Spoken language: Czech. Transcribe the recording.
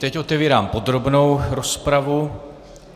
Teď otevírám podrobnou rozpravu.